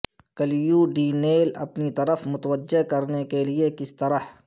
clue ڈی نیل اپنی طرف متوجہ کرنے کے لئے کس طرح